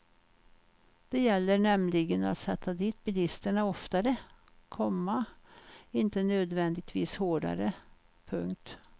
Det gäller nämligen att sätta dit bilisterna oftare, komma inte nödvändigtvis hårdare. punkt